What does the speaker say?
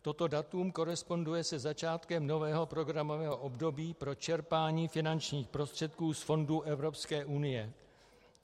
Toto datum koresponduje se začátkem nového programového období pro čerpání finančních prostředků z fondů Evropské unie.